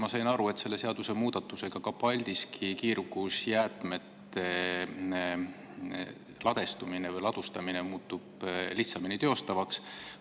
Ma sain aru, et selle seadusemuudatusega muutub ka Paldiski jäätmete ladustamine lihtsamini teostatavaks.